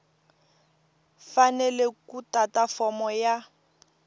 fanele ku tata fomo ya